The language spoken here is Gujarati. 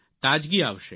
તાજગી આવશે